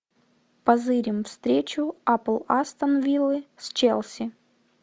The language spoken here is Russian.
позырим встречу апл астон виллы с челси